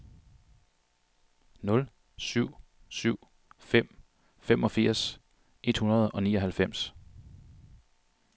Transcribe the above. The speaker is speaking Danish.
nul syv syv fem femogfirs et hundrede og nioghalvfems